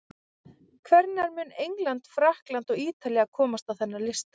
Hvenær mun England, Frakkland eða Ítalía komast á þennan lista?